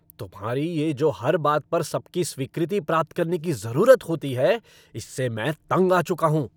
तुम्हारी ये जो हर बात पर सबकी स्वीकृति प्राप्त करने की जरूरत होती है, इससे मैं तंग आ चुका हूँ।